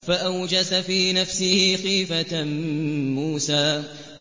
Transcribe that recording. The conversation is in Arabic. فَأَوْجَسَ فِي نَفْسِهِ خِيفَةً مُّوسَىٰ